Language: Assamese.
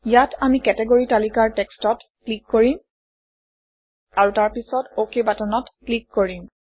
ইয়াত আমি কেটগৰী তালিকাৰ Text অত ক্লিক কৰিম আৰু তাৰ পিছত অক বাটনত ক্লিক কৰিম